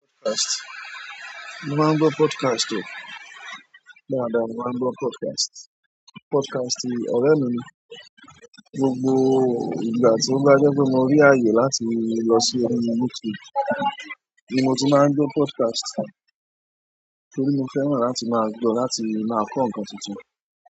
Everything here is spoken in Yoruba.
Podcast. Mo máa ń gbọ́ podcast o. Dáadáa, mo máa ń gbọ́ podcast. Podcast ọrẹ mi ni. Gbogbo ìgbà tó bá jẹ pé mò rí àyè láti lọ sí orí YouTube ni mo tí màá ń gbọ podcast torí mo fẹ́ràn láti máa gbọ́, láti máa kọ́ nǹkan tuntun.